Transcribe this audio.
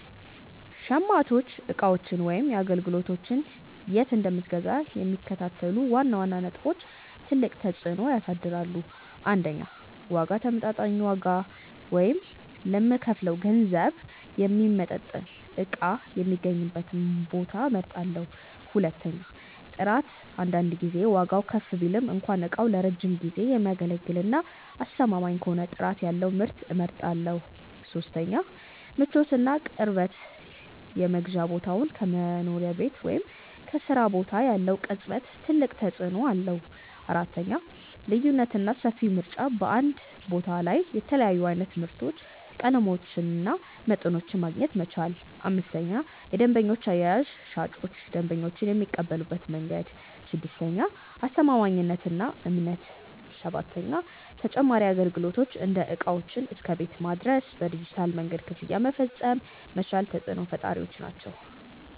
.ሸማቾች ዕቃዎችን ወይም አገልግሎቶችን የት እንደምገዛ የሚከተሉት ዋና ዋና ነጥቦች ትልቅ ተፅዕኖ ያሳድራሉ፦ 1. ዋጋ ተመጣጣኝ ዋጋ፣ ወይም ለምከፍለው ገንዘብ የሚመጥን ዕቃ የሚገኝበትን ቦታ እመርጣለሁ። 2. ጥራት አንዳንድ ጊዜ ዋጋው ከፍ ቢልም እንኳ ዕቃው ለረጅም ጊዜ የሚያገለግልና አስተማማኝ ከሆነ ጥራት ያለውን ምርት እመርጣለሁ። 3. ምቾትና ቅርበት የመግዣ ቦታው ከመኖሪያ ቤት ወይም ከሥራ ቦታ ያለው ቅርበት ትልቅ ተፅዕኖ አለው። 4. ልዩነትና ሰፊ ምርጫ በአንድ ቦታ ላይ የተለያዩ ዓይነት ምርቶችን፣ ቀለሞችንና መጠኖችን ማግኘት መቻል። 5. የደንበኞች አያያዝ ሻጮች ደንበኞችን የሚቀበሉበት መንገድ። 6. አስተማማኝነትና እምነት 7. ተጨማሪ አገልግሎቶች እንደ ዕቃዎችን እስከ ቤት ማድረስ፣ በዲጂታል መንገድ ክፍያ መፈጸም መቻል ተፅዕኖ ፈጣሪዎች ናቸው።